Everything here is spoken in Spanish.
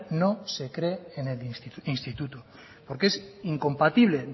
no se cree en el instituto porque es incompatible